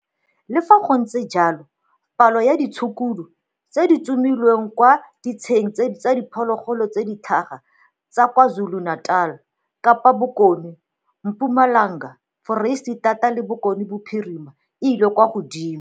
Le fa gontse jalo, palo ya ditshukudu tse di tsomilweng kwa ditsheng tsa diphologolo tse di tlhaga tsa kwa KwaZulu Natal, Kapa Bokone, Mpumalanga, Foreisetata le Bokone Bophirima e ile kwa godimo.